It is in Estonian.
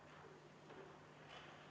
Palun võtta seisukoht ja hääletada!